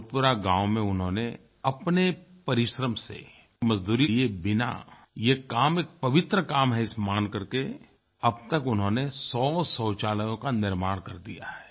भोजपुरा गाँव में उन्होंने अपने परिश्रम से मज़दूरी लिये बिना ये काम एक पवित्र काम है इसे मान करके अब तक उन्होंने 100 शौचालयों का निर्माण कर दिया है